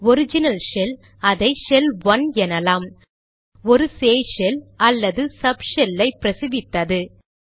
original shell அதை shell 1 எனலாம் ஒரு சேய் ஷெல் அல்லது சப் ஷெல் ஐ பிரசவித்தது